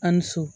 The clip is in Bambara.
A' ni so